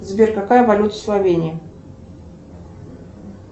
сбер какая валюта в словении